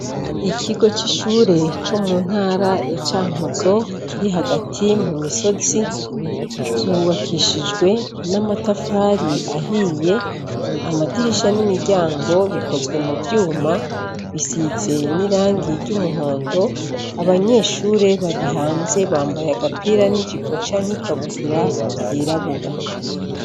Ikigo c'ishure co mu ntara ya Cankuzo kiri hagati mumisozi, cubakishijwe n'amatafari ahiye, amadirisha n'imiryango bikozwe muvyuma, bisize nirangi ry'umuhondo, abanyeshure bari hanze bambaye agapira n'ijipo canke ikabutura vyirabura.